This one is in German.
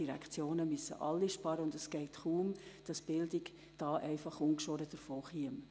Es müssen sämtliche Direktionen sparen, und es wäre kaum möglich, dass die Bildung hier ungeschoren davonkäme.